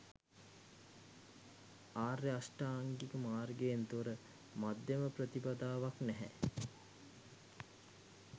ආර්ය අෂ්ටාංගික මාර්ගයෙන් තොර මධ්‍යම ප්‍රතිපදාවක් නැහැ.